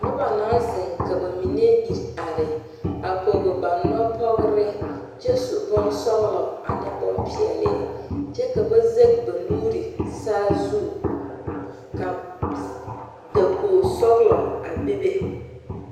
Noba naŋ zeŋ ka ba mine ire are, a pɔge ba nɔpɔgere kyɛ su bon sɔglɔ ane bon pɛɛle kyɛ ka ba zage ba nuuri. sazu ka dakogi sɔglɔ a be.